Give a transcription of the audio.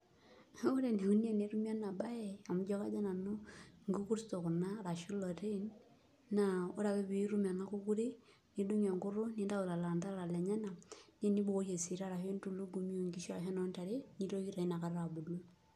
Ore enikoni tenetumi enabaye amu ijio kadol nanu nkukursto kuna ashu ilotin, naa ore ake pee itum ena kukuri nidung' enkutuk nintayu lelo anterera lenyenak nibukoki esita ashu ibukoki entulugumi onkishu ashu enoontare nitoki tanakata abulu.